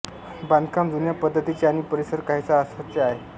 बांधकाम जुन्या पद्धतीचे आणि परिसर काहीसा अस्वच्छ आहे